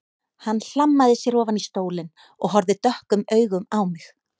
Hann hlammaði sér ofan í stólinn og horfði dökkum augum á mig.